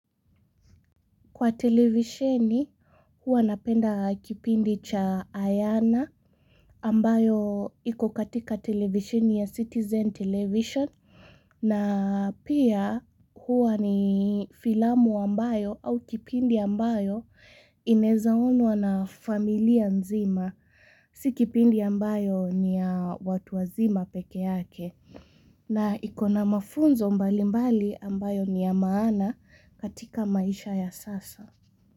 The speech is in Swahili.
Kwa televisheni huwa napenda kipindi cha Ayana ambayo iko katika televisheni ya Citizen television na pia huwa ni filamu ambayo au kipindi ambayo inaweza onwa na familia nzima. Si kipindi ambayo ni ya watu wazima peke yake. Na iko na mafunzo mbalimbali ambayo ni ya maana katika maisha ya sasa.